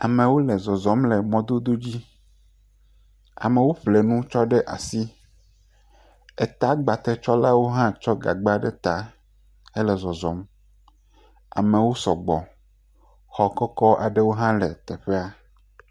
Amewo le zɔzɔm le mɔdododzi, am, ewo ƒle nu tsɔ ɖe asi, eta gba tsɔlawo hã tsɔ gagba ɖe ta hele zɔzɔm, amewo sɔgbɔ, xɔ kɔkɔ aɖewo hã le teƒea.